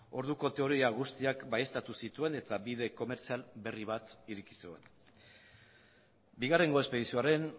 orduko teoria guztiak baieztatu zituen eta bide komertzial berri bat ireki zuen bigarrengo espedizioaren